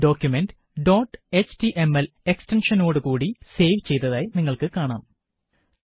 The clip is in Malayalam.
ഡോക്കുമന്റ് ഡോട്ട് എച്ടിഎംഎൽ എക്സ്റ്റെന്ഷനോട് കൂടി സേവ് ചെയ്തതായി നിങ്ങള്ക്ക് കാണാം